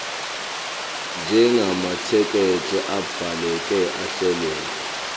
njengamathekisthi abhaleke ahleleka